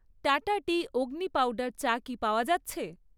Tata tea Agni powder চা কি পাওয়া যাচ্ছে?